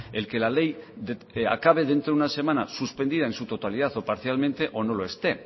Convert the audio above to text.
el que la ley acabe dentro de una semana suspendida en su totalidad o parcialmente o no lo esté